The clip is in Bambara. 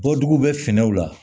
Bɔ dugu bɛ finiw la